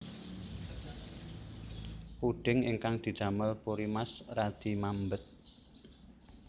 Puding ingkang didamel Purimas radi mambet